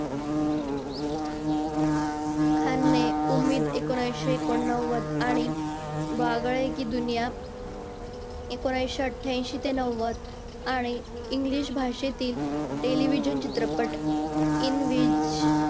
खान ने उम्मीद एकोणविशे एकोणनव्वद आणि वागळे कि दुनिया एकोणविशे अठ्यांशी ते नव्वद आणि English भाषेतील television चित्रपट in vis